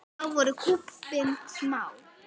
Þá voru kúabúin smá.